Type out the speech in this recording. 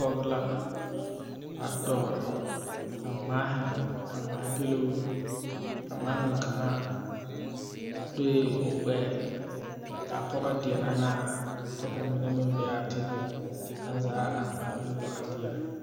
Pɔge la a dɔɔ ka ŋmaahi a ŋmaagiluu a ŋmaaŋa kaŋa doe o gbɛɛ k,a pɔge deɛnɛ ne a kyɛ ka mine meŋ be a teŋɛŋ aŋ zaa a ŋmaagiluu a deɛnɛ.